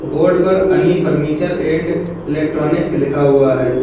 Board पर अनि furniture and electronics लिखा हुआ है।